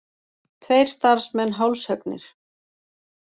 Tveir starfsmenn hálshöggnir